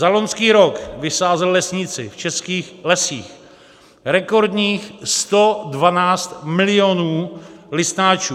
Za loňský rok vysázeli lesníci v českých lesích rekordních 112 milionů listnáčů.